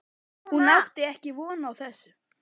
Hún átti ekki von á þessu.